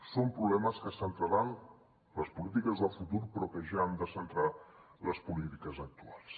són problemes que centraran les polítiques del futur però que ja han de centrar les polítiques actuals